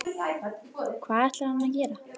Hvað ætlar hann að gera?